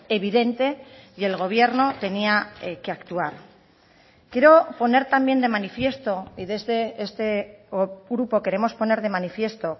evidente y el gobierno tenía que actuar quiero poner también de manifiesto y desde este grupo queremos poner de manifiesto